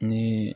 Ni